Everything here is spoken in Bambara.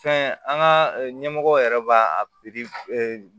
Fɛn an ka ɲɛmɔgɔw yɛrɛ b'a a pikiri